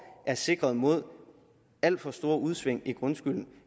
er sikret mod alt for store udsving i grundskylden